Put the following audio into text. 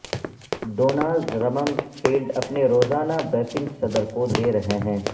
Donald Rumsfeld اپنے روزانہ briefing صدر کو دے رہے ہیں